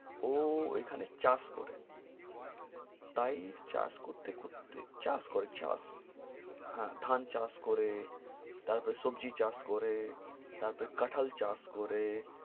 ও এখানে চাষ করে তাই চাষ করতে করতে চাষ করে হা ধান চাষ করে তার পার সবজি চাষ করে তার পার কাঁঠাল চাষ করে